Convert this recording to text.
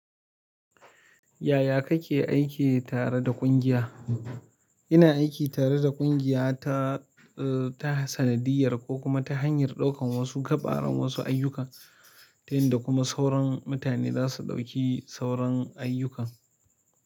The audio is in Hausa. Yaya kake aiki tare da ƙungiya? Ina aiki tare da ƙungiya ta, ta sanadiyyar ko kuma ta hanyar ɗaukan wasu gaɓaran wasu ayyukan, ta yin da kuma sauran mutane za su ɗauki sauran ayyukan.